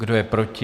Kdo je proti?